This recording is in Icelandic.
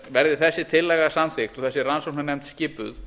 verði þessi tillaga samþykkt og þessi rannsóknarnefnd skipuð